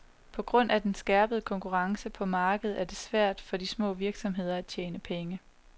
På grund af den skærpede konkurrence på markedet er det svært for de små virksomheder at tjene penge.